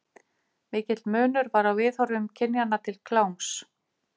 Mikill munur var á viðhorfum kynjanna til kláms.